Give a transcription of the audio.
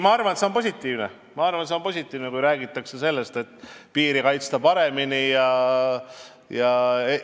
Ma arvan, et see on positiivne, kui räägitakse sellest, et piiri tuleb paremini kaitsta.